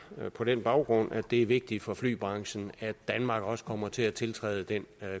på den baggrund at det er vigtigt for flybranchen at danmark også kommer til at tiltræde den